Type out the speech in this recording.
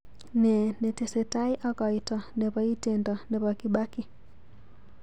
Ne netesetai ak koito nebo itendo nebo Kibaki.